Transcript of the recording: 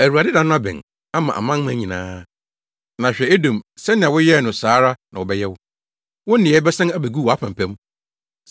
“ Awurade da no abɛn ama amanaman nyinaa. Na hwɛ, Edom, sɛnea woyɛɛ no saa ara na wɔbɛyɛ wo. Wo nneyɛe bɛsan abegu wʼapampam.